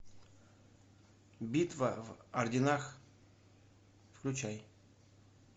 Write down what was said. битва в орденах включай